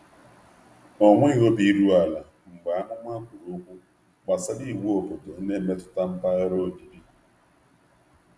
Ọ nweghị obi iru ala mgbe amụma kwuru okwu gbasara iwu obodo na-emetụta mpaghara obibi.